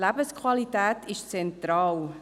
Die Lebensqualität ist zentral.